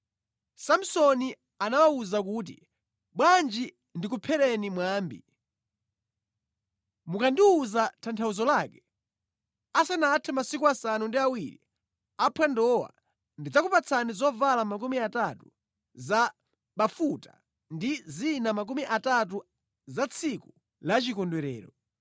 Samsoni anawawuza kuti, “Bwanji ndikuphereni mwambi. Mukandiwuza tanthauzo lake asanathe masiku asanu ndi awiri aphwandowa, ndidzakupatsani zovala makumi atatu za bafuta ndi zina makumi atatu za tsiku la chikondwerero.